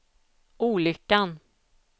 olyckan